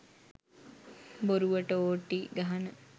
බොරුවට ඕටී ගහන